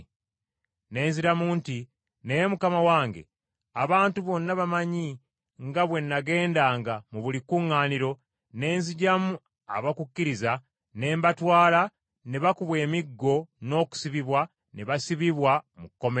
“Ne nziramu nti, ‘Naye Mukama wange, abantu bonna bamanyi nga bwe nagendanga mu buli kkuŋŋaaniro ne nzigyamu abakukkiriza, ne mbatwala ne bakubwa emiggo n’okusibibwa ne basibibwa mu kkomera.